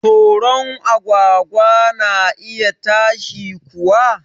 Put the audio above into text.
Toron agwagwa na iya ta shi kuwa